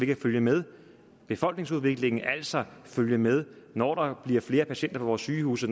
vi følge med befolkningsudviklingen altså følge med når der bliver flere patienter på vores sygehuse